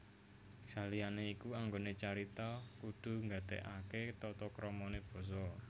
Saliyane iku anggone carita kudu gatekake tata kramane basa